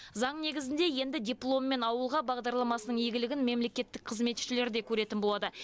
заң негізінде енді дипломмен ауылға бағдарламасының игілігін мемлекеттік қызметшілер де көретін болады